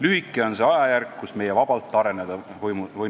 Lühike on see ajajärk, kus meie vabalt areneda võinud oleme.